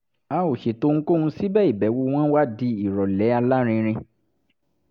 a ò ṣètò ohunkóhun síbẹ̀ ìbẹ̀wò wọn wá di ìrọ̀lẹ́ alárinrin